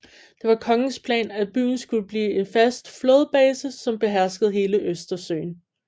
Det var kongens plan at byen skulle blive en fast flådebase som beherskede hele Østersøen